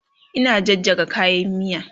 Ina jajjaga kayan miya